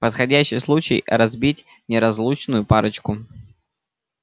подходящий случай разбить неразлучную парочку